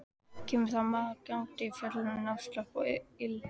Kemur þá maður gangandi í fölgulum náttslopp og ilskóm.